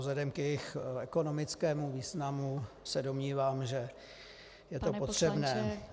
Vzhledem k jejich ekonomickému významu se domnívám, že je to potřebné.